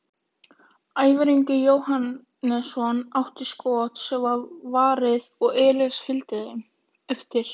Ævar Ingi Jóhannesson átti skot sem var varið og Elías fylgdi eftir.